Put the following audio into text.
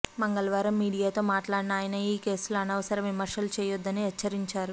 మంగళవారం మీడియాతో మాట్లాడిన ఆయన ఈ కేసులో అనవసర విమర్శలు చేయవద్దని హెచ్చరించారు